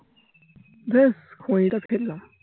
বেশ ফেললাম